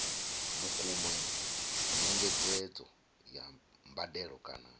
vhukuma nyengedzedzo ya mbadelo kana